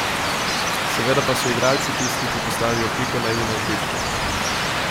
Seveda pa so igralci tisti, ki postavijo piko na i na igrišču.